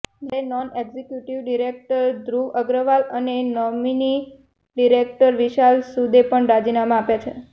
જ્યારે non executive director Dhruv Agarwal અને nominee director Vishal સુદે પણ રાજીનામા આપ્યા છે